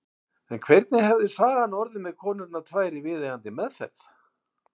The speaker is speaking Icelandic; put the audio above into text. En hvernig hefði sagan orðið með konurnar tvær í viðeigandi meðferð?